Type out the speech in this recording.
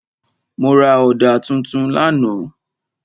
Mo ra ọ̀dà tuntun lánàá.